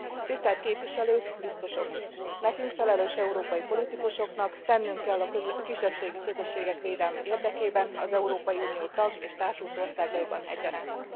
Tisztelt Képviselők, Biztosok! Nekünk, felelős európai politikusoknak tennünk kell a kisebbségi közösségek védelme érdekében az Európai Unió tag és társult országaiban egyaránt.